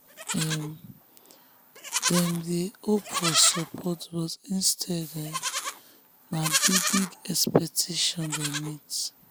um dem dey hope for support but instead um na big-big expectation um dem meet.